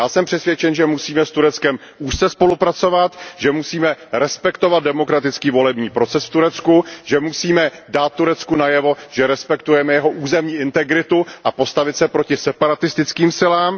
Já jsem přesvědčen, že musíme s Tureckem úzce spolupracovat, že musíme respektovat demokratický volební proces v Turecku, že musíme dát Turecku najevo, že respektujeme jeho územní integritu a postavit se proti separatistickým silám.